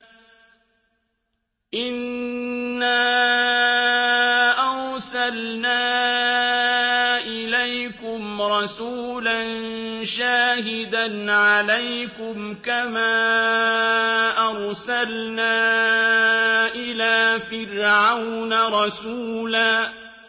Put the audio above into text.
إِنَّا أَرْسَلْنَا إِلَيْكُمْ رَسُولًا شَاهِدًا عَلَيْكُمْ كَمَا أَرْسَلْنَا إِلَىٰ فِرْعَوْنَ رَسُولًا